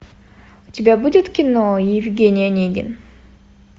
у тебя будет кино евгений онегин